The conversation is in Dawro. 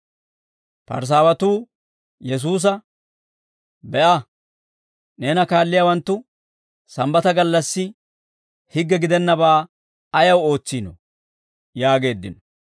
Parisaawatuu Yesuusa, «Be'a; neena kaalliyaawanttu Sambbata gallassi higge gidennabaa ayaw ootsiinoo?» yaageeddino.